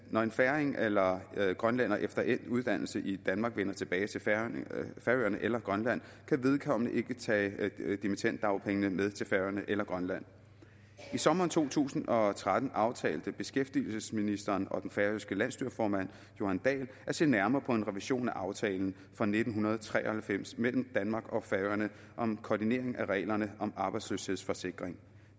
når en færing eller grønlænder efter endt uddannelse i danmark vender tilbage til færøerne eller grønland kan vedkommende ikke tage dimittenddagpengene med til færøerne eller grønland i sommeren to tusind og tretten aftalte beskæftigelsesministeren og den færøske landsstyreformand jóhan dahl at se nærmere på en revision af aftalen fra nitten tre og halvfems mellem danmark og færøerne om koordinering af reglerne om arbejdsløshedsforsikring